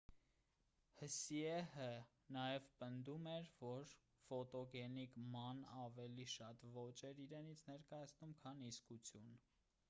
հսիեհը նաև պնդում էր որ ֆոտոգենիկ ման ավելի շատ ոճ էր իրենից ներկայացնում քան իսկություն